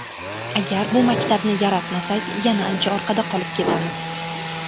Agar bu maktabni yaratmasak, yana ancha orqada qolib ketamiz.